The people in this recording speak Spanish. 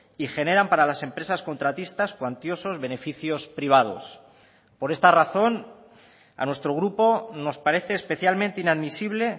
y generan para las empresas contratistas cuantiosos beneficios privados por esta razón a nuestro grupo nos parece especialmente inadmisible